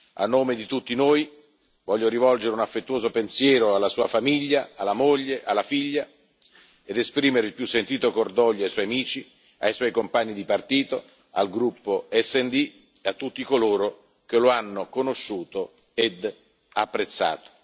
A nome di tutti noi voglio rivolgere un affettuoso pensiero alla sua famiglia, alla moglie, alla figlia, ed esprimere il più sentito cordoglio ai suoi amici, ai suoi compagni di partito, al gruppo SD e a tutti coloro che lo hanno conosciuto ed apprezzato.